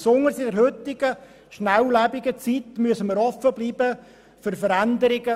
Besonders in der heutigen, schnelllebigen Zeit müssen wir offen bleiben für Veränderungen.